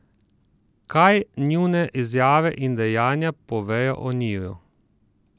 Kaj njune izjave in dejanja povejo o njiju?